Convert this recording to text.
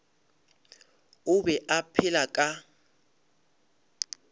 o be a phela ka